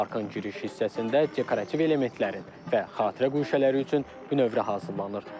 Parkın giriş hissəsində dekorativ elementlərin və xatirə guşələri üçün bünövrə hazırlanır.